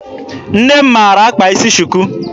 Nne m maara akpa isi shuku.